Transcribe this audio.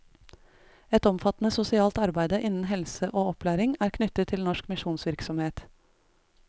Et omfattende sosialt arbeide innen helse og opplæring er knyttet til norsk misjonsvirksomhet.